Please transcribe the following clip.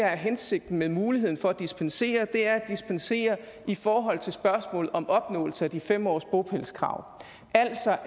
er hensigten med muligheden for at dispensere er at dispensere i forhold til spørgsmål om opnåelse af de fem års bopælskrav altså